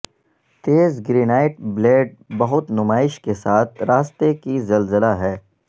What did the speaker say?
تیز granite blade بہت نمائش کے ساتھ راستے کی زلزلہ ہے